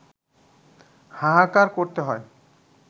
হাহাকার করতে হয়